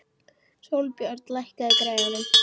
Sólbjörn, lækkaðu í græjunum.